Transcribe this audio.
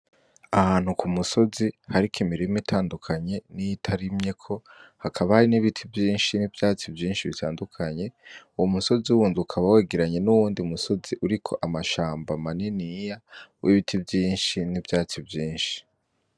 Ahantu kumusozi hariko imirima itandukanye niyitarimyeko ,hakaba hari nibiti vyinshi nivyatsi vyinshi bitandukanye , umusozi wundi ukaba wegeranye n’uwundi musozi uriko amashamba maniniya wibiti vyinshi nivyatsi vyinshi.